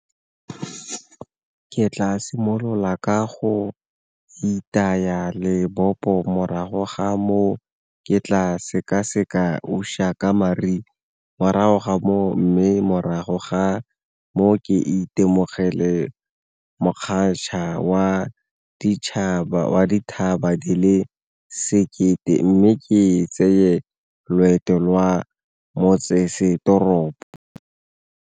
Ke tla simolola ka go itaya lebopo morago ga moo ke tla sekaseka uShaka Marine morago ga moo, mme morago ga moo ka ke itemogele wa dithaba di le sekete mme ke tseye loeto lwa motsesetoropo.